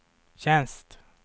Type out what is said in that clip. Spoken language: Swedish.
tjänst